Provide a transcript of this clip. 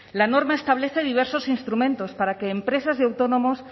la norma establece diversos instrumentos para que empresas y autónomos